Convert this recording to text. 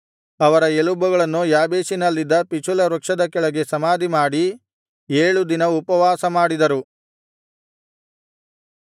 ಅವರ ಎಲುಬುಗಳನ್ನು ಯಾಬೇಷಿನಲ್ಲಿದ್ದ ಪಿಚುಲ ವೃಕ್ಷದ ಕೆಳಗೆ ಸಮಾಧಿಮಾಡಿ ಏಳು ದಿನ ಉಪವಾಸ ಮಾಡಿದರು